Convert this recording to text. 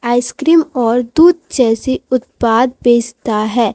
Ice cream और दूध जैसे उत्पाद बेचता है।